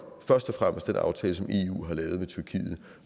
først og fremmest den aftale som eu har lavet med tyrkiet